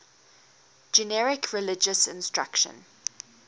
generic religious instruction